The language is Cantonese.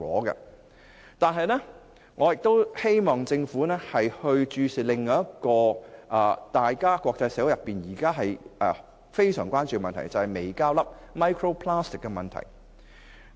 可是，我希望政府亦要注視另一個國際社會相當關注的問題，就是微膠粒。